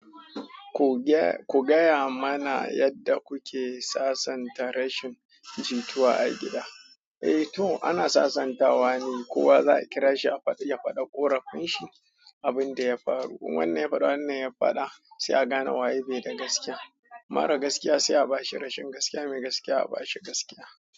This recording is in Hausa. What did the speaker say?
Ku gaya mana yadda kuke sasanta rashin jituwa a gida? Eh to ana sasantawa ne, ko za a kira shi ya faɗi ƙorafinshi abin da ya faru. In wannan ya faɗa wannan ya faɗa sai a gane waye bai da gaskiya. Mara gaskiya sai a bashi rashin gaskiya, mai gaskiya a bashi gaskiya.